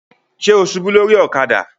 Ṣe o ṣubu lori ọ̀kadà?